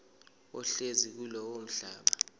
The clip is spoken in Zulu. ohlezi kulowo mhlaba